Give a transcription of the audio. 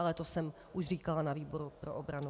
Ale to jsem už říkala na výboru pro obranu.